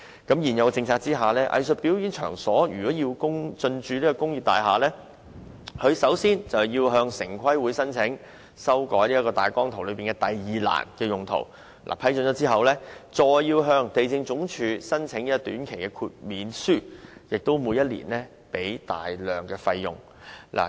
在現有政策下，藝術表演場所如果要進駐工廈，首先要向城市規劃委員會申請，修改分區計劃大綱圖中"第二欄用途"，獲得批准後，再向地政總署申請短期的租契條件豁免書，並需每年繳交龐大費用。